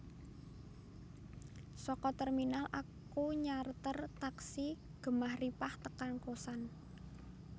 Soko terminal aku nyarter taksi Gemah Ripah tekan kosan